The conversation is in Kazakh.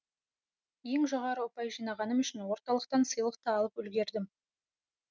ең жоғары ұпай жинағаным үшін орталықтан сыйлық та алып үлгердім